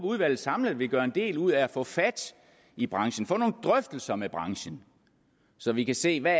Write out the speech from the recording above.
udvalget samlet vil gøre en del ud af at få fat i branchen få nogle drøftelser med branchen så vi kan se hvad